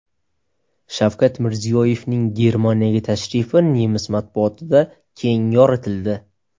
Shavkat Mirziyoyevning Germaniyaga tashrifi nemis matbuotida keng yoritildi .